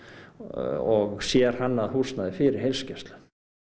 og sérhannað húsnæði fyrir heilsugæslu